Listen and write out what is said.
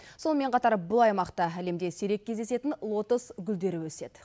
сонымен қатар бұл аймақта әлемде сирек кездесетін лотос гүлдері өседі